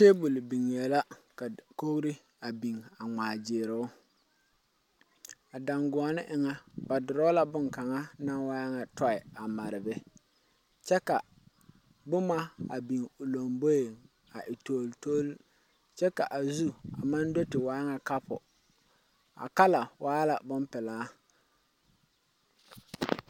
Taabul biŋee la ka dakogro biŋ ŋmaaa gyil o,a daŋgoɔni eŋa ba dorɔɔ la bonkaŋa naŋ waa nyɛ tɔɛ na a mare a be kyɛ ka boma biŋ o lamboi a waa toltol kyɛ ka a zu maŋ do te waa nyɛ kapɔ a kala waa la boŋ pilaa.